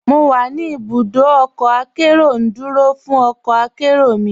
Mo wà ní ibùdọ ọkọ akẹró, ndúró fún ọkọ akẹró mi.